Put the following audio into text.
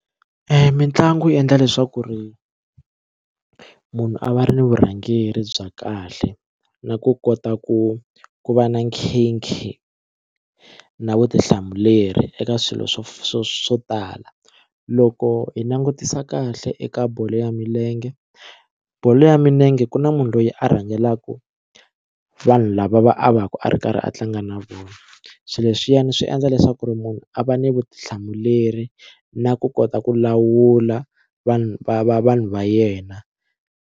Mitlangu yi endla leswaku ri munhu a va ri ni vurhangeri bya kahle na ku kota ku ku va na nkhinkhi na vutihlamuleri eka swilo swo swo swo tala loko hi langutisa kahle eka bolo ya milenge bolo ya milenge ku na munhu loyi a rhangelaka vanhu lava va a va ku a ri karhi a tlanga na vona swilo leswiyani swi endla leswaku ri munhu a va ni vutihlamuleri na ku kota ku lawula vanhu va va vanhu va yena.